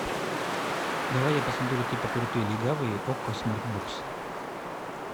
давай я посмотрю типа крутые легавые окко смарт бокс